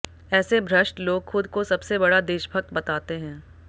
ऐसे भ्रष्ट लोग खुद को सबसे बड़ा देशभक्त बताते हैं